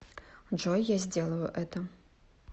джой я сделаю это